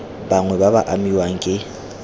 bangwe ba ba amiwang ke